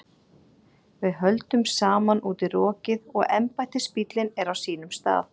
Við höldum saman út í rokið og embættisbíllinn er á sínum stað.